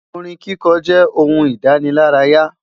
Orin kíkọ jẹ ohun idanilaraya